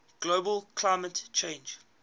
global climate change